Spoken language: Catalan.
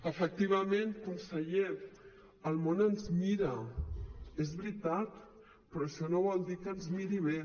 efectivament conseller el món ens mira és veritat però això no vol dir que ens miri bé